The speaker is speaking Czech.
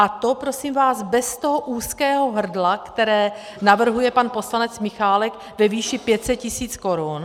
A to prosím vás bez toho úzkého hrdla, které navrhuje pan poslanec Michálek ve výši 500 tisíc korun.